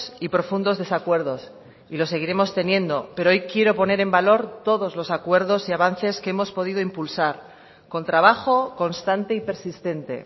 y profundos desacuerdos y los seguiremos teniendo pero hoy quiero poner en valor todos los acuerdos y avances que hemos podido impulsar con trabajo constante y persistente